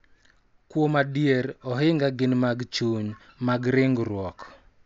Kuom adier, ohinga gin mag chuny, mag ringruok,